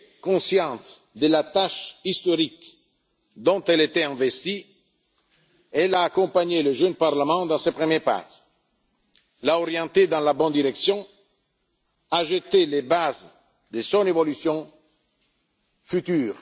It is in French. à elle. Consciente de la tâche historique dont elle était investie, elle a accompagné le jeune Parlement dans ses premiers pas, l'a orienté dans la bonne direction et a jeté les bases de son évolution